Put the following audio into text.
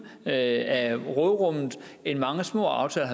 af råderummet end mange små aftaler